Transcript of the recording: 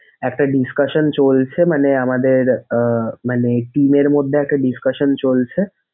একটা discussion চলছে মানে আমাদের আহ মানে team এর মধ্যে একটা discussion চলছে।